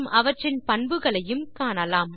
அவற்றின் பண்புகளையும் காணலாம்